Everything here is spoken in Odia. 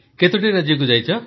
କେତୋଟି ରାଜ୍ୟକୁ ଯାଇଛ